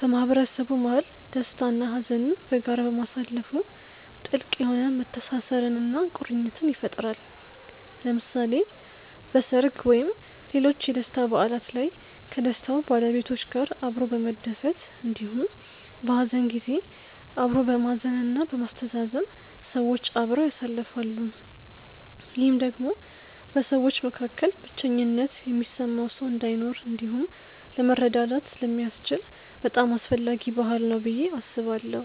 በማህበረሰቡ መሀል ደስታ እና ሀዘንን በጋራ ማሳለፋ ጥልቅ የሆነ መተሳሰርን እና ቁርኝትን ይፈጥራል። ለምሳሌ በሰርግ ወይም ሌሎች የደስታ በዓላት ላይ ከደስታው ባለቤቶች ጋር አብሮ በመደሰት እንዲሁም በሀዘን ጊዜ አብሮ በማዘን እና በማስተዛዘን ሰዎች አብረው ያሳልፋሉ። ይህም ደግሞ በሰዎች መካከል ብቸኝነት የሚሰማው ሰው እንዳይኖር እንዲሁም ለመረዳዳት ስለሚያስችል በጣም አስፈላጊ ባህል ነው ብዬ አስባለሁ።